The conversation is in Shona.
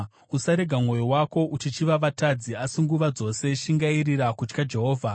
Usarega mwoyo wako uchichiva vatadzi, asi nguva dzose shingairira kutya Jehovha.